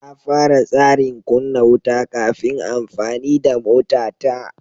Na fara tsarin kunna wuta kafin amfani da motata.